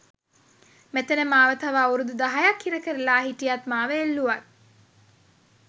මෙතැන මාව තව අවුරුදු දහයක්‌ හිරකරලා හිටියත් මාව එල්ලුවත්